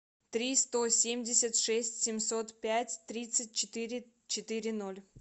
три сто семьдесят шесть семьсот пять тридцать четыре четыре ноль